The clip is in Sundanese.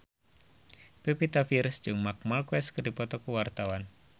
Pevita Pearce jeung Marc Marquez keur dipoto ku wartawan